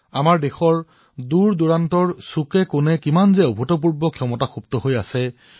আপোনালোকেও হয়তো অনুভৱ কৰিছে আমাৰ দেশৰ প্ৰান্তেপ্ৰান্তে কি অভূতপূৰ্ব ক্ষমতা আছে